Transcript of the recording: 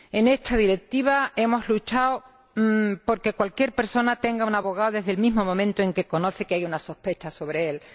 En esta Directiva hemos luchado por que cualquier persona tenga un abogado desde el mismo momento en que conoce que hay una sospecha sobre ella.